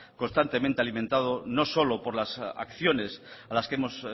constantemente alimentado y no solo por las acciones a las que hemos